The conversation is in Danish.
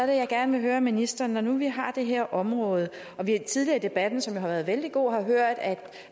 jeg gerne høre ministeren når nu vi har det her område og vi tidligere i debatten som jo har været vældig god har hørt at